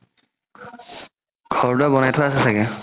ঘৰ দুটা বনাই থোৱা আছে ছাগে